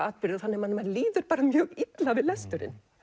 atburðir þannig að manni líður mjög illa við lesturinn